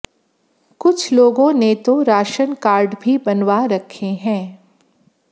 कुछ लोगों ने तो राश्न कार्ड भी बनवा रखे हैं